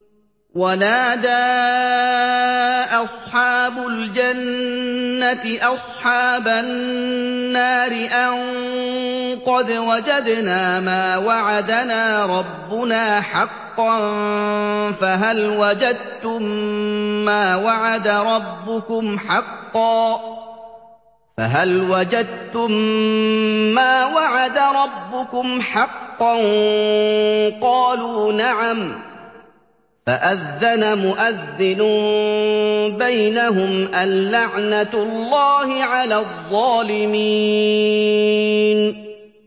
وَنَادَىٰ أَصْحَابُ الْجَنَّةِ أَصْحَابَ النَّارِ أَن قَدْ وَجَدْنَا مَا وَعَدَنَا رَبُّنَا حَقًّا فَهَلْ وَجَدتُّم مَّا وَعَدَ رَبُّكُمْ حَقًّا ۖ قَالُوا نَعَمْ ۚ فَأَذَّنَ مُؤَذِّنٌ بَيْنَهُمْ أَن لَّعْنَةُ اللَّهِ عَلَى الظَّالِمِينَ